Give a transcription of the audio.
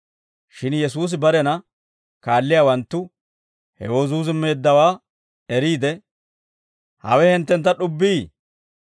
Shin Yesuusi barena kaalliyaawanttu hewoo zuuzummeeddawaa eriide, «Hawe hinttentta d'ubbii?